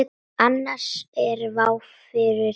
Annars er vá fyrir dyrum.